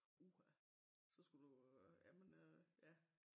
Uha så skulle du øh jamen øh ja